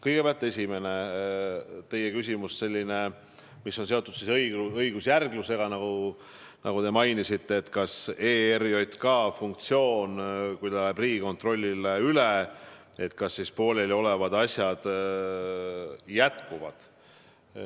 Kõigepealt, teie esimene küsimus oli seotud õigusjärglusega, nagu te mainisite, et kui ERJK funktsioon läheb Riigikontrollile üle, kas siis pooleliolevad asjad jätkuvad.